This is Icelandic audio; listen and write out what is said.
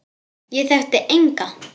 Ég þekkti enga.